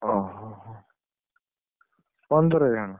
ଓହୋ ହୋ, ପନ୍ଦରଜଣ?